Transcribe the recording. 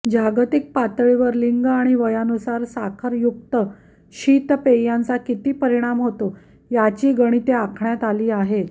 जागतिक पातळीवर लिंग आणि वयानुसार साखरयुक्त शीतपेयांचा किती परिणाम होतो याची गणिते आखण्यात आली आहेत